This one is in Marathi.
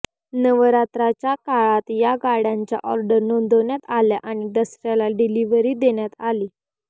नवरात्राच्या काळात या गाड्यांच्या ऑर्डर नोंदवण्यात आल्या आणि दसऱ्याला डीलिव्हरी देण्यात आली